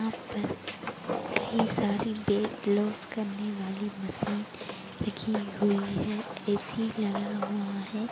यहाँ पर एक कई सारी वैट लोस करने वाली मशीन रखी हुई है। ए_सी लगा हुआ है।